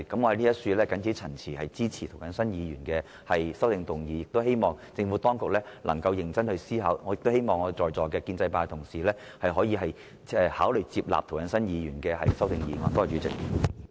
我謹此陳辭，支持涂謹申議員提出的修正案，亦希望政府當局能夠認真思考，並希望在座的建制派同事可以考慮支持涂謹申議員的修正案。